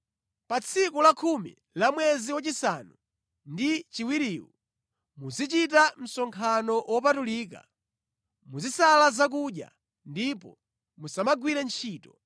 “ ‘Pa tsiku lakhumi la mwezi wachisanu ndi chiwiriwu, muzichita msonkhano wopatulika. Muzisala zakudya ndipo musamagwire ntchito.